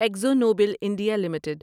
Akzo Nobel India limited